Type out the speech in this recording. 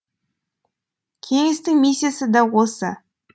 кеңестің миссиясы да осы